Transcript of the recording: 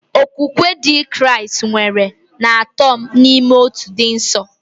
Okwukwe Ndị Kraịst kwere na Atọ n'Ime Otu dị nsọ.